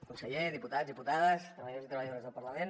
conseller diputats diputades treballadors i treballadores del parlament